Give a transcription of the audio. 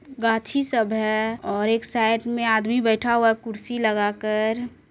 गाछी सब है और एक साइड मे आदमी बैठा हुआ है कुर्सी लगाकर।